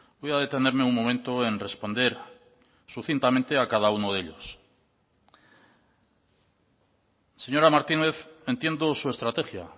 voy a detenerme un momento en responder sucintamente a cada uno de ellos señora martínez entiendo su estrategia